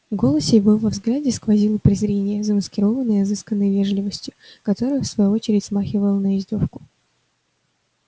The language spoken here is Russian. в голосе его и во взгляде сквозило презрение замаскированное изысканной вежливостью которая в свою очередь смахивала на издёвку